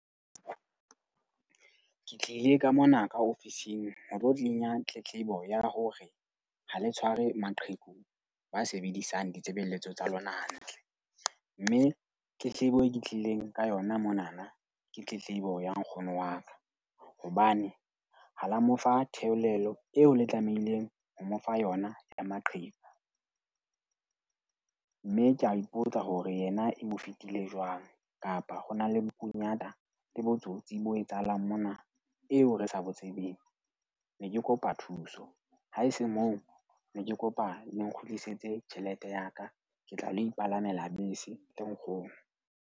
Ke tlile ka mona ka ofising ho tlo kenya tletlebo ya hore ha le tshware maqheku ba sebedisang ditshebeletso tsa lona hantle. Mme tletlebo e ke tlileng ka yona monana ke tletlebo ya nkgono wa ka, hobane ha la mo fa theolelo eo le tlamehileng ho mo fa yona ya maqheku. Mme ke a ipotsa hore yena e mo fetile jwang kapa ho na le bokunyata le botsotsi bo etsahalang mona eo re sa bo tsebeng. Ne ke kopa thuso, haese moo ne ke kopa le nkgutlisetse tjhelete ya ka, ke tla ilo ipalamele bese le nkgono.